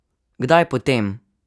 Kdaj potem?